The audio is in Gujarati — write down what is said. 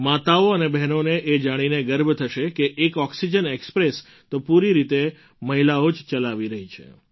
માતાઓ અને બહેનોને એ જાણીને ગર્વ થશે કે એક ઑક્સિજન ઍક્સ્પ્રેસ તો પૂરી રીતે મહિલાઓ જ ચલાવી રહી છે